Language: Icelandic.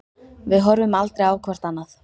Við horfum aldrei á hvort annað.